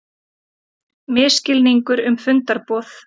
Misskilningur um fundarboð